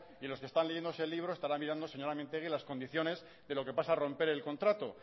y los que están leyéndose el libro estarán mirando señora mintegi las condiciones de lo pasa al romper el contrato